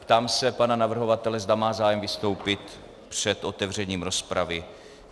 Ptám se pana navrhovatele, zda má zájem vystoupit před otevřením rozpravy.